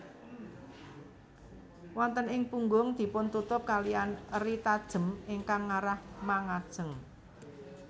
Wonten ing punggung dipuntutup kaliyan eri tajem ingkang ngarah mangajeng